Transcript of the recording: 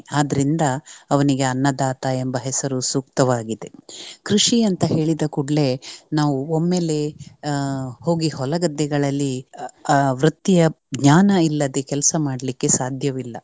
ಆದ್ರಿಂದ ಅವನಿಗೆ ಅನ್ನದಾತ ಎಂಬ ಹೆಸರು ಸೂಕ್ತವಾಗಿದೆ. ಆಹ್ ಕೃಷಿ ಅಂತ ಹೇಳಿದ ಕೂಡಲೇ ನಾವು ಒಮ್ಮೆಲೇ ಆಹ್ ಹೋಗಿ ಹೊಲಗದ್ದೆಗಳಲ್ಲಿ ವೃತ್ತಿಯ ಜ್ಞಾನ ಇಲ್ಲದೆ ಕೆಲಸ ಮಾಡ್ಲಿಕ್ಕೆ ಸಾಧ್ಯವಿಲ್ಲ.